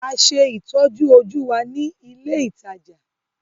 A ṣe ìtọ́jú-ojú wa ní ilé-ìtajà.